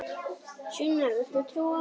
Sunna, viltu trúa á mig?